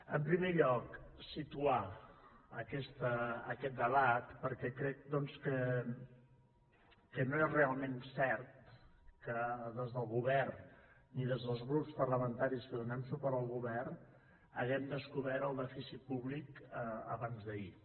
en primer lloc situar aquest debat perquè crec doncs que no és realment cert que des del govern ni des dels grups parlamentaris que donem suport al govern haguem descobert el dèficit públic abans d’ahir